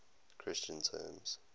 christian terms